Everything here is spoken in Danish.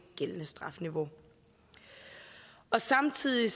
gældende strafniveau samtidig